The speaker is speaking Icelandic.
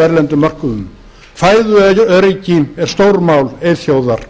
erlendum mörkuðum fæðuöryggi er stórmál eyþjóðar